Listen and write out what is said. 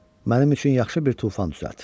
Mənim üçün yaxşı bir tufan düzəlt.